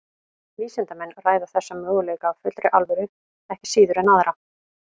Vísindamenn ræða þessa möguleika af fullri alvöru ekki síður en aðra.